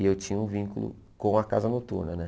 E eu tinha um vínculo com a Casa Noturna, né?